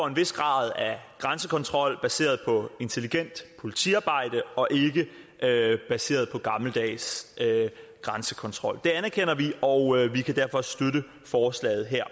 en vis grad af grænsekontrol baseret på intelligent politiarbejde og ikke baseret på gammeldags grænsekontrol det anerkender vi og vi kan derfor støtte forslaget her